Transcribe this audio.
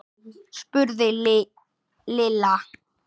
spurði Lilla.